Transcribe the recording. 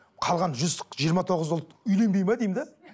қалған жүз жиырма тоғыз ұлт үйленбейді ме деймін де